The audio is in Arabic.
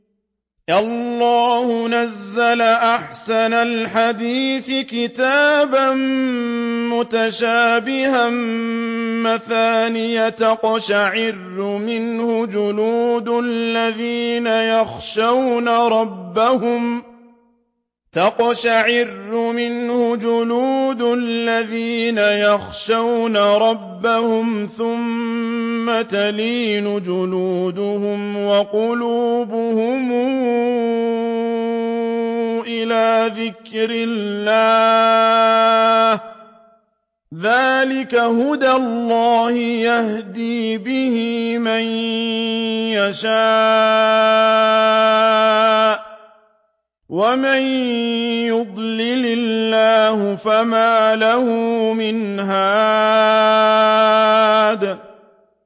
اللَّهُ نَزَّلَ أَحْسَنَ الْحَدِيثِ كِتَابًا مُّتَشَابِهًا مَّثَانِيَ تَقْشَعِرُّ مِنْهُ جُلُودُ الَّذِينَ يَخْشَوْنَ رَبَّهُمْ ثُمَّ تَلِينُ جُلُودُهُمْ وَقُلُوبُهُمْ إِلَىٰ ذِكْرِ اللَّهِ ۚ ذَٰلِكَ هُدَى اللَّهِ يَهْدِي بِهِ مَن يَشَاءُ ۚ وَمَن يُضْلِلِ اللَّهُ فَمَا لَهُ مِنْ هَادٍ